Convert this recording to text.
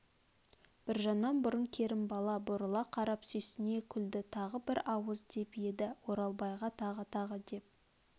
біржаннан бұрын керімбала бұрыла қарап сүйсіне күлді тағы бір ауыз деп еді оралбайға тағы тағы деп